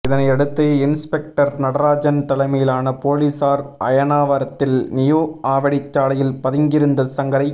இதனையடுத்து இன்ஸ்பெக்டர் நடராஜன் தலைமையிலான போலீசார் அயனாவரத்தில் நியூ ஆவடி சாலையில் பதுங்கி இருந்த சங்கரை